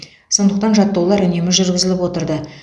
сондықтан жаттығулар үнемі жүргізіліп отырды